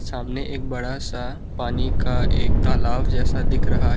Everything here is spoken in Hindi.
सामने एक बड़ा सा पानी का एक तालाब जैसा दिख रहा--